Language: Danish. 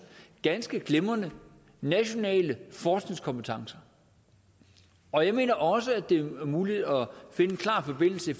ganske glimrende nationale forskningskompetencer og jeg mener også at det er muligt at finde en klar forbindelse